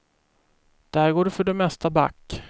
Där går du för det mesta back.